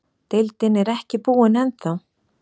Deildin er ekki búinn ennþá.